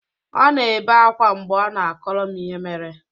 Ọ na-ebe akwa mgbe ọ na-akọrọ m ihe mere.